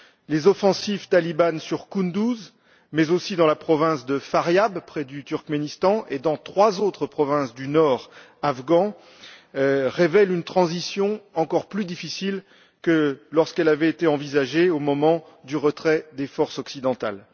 Les offensives talibanes sur Kunduz mais aussi dans la province de Faryab, près du Turkménistan, et dans trois autres provinces du nord afghan révèlent une transition encore plus difficile que lorsqu'elle avait été envisagée au moment du retrait des forces occidentales.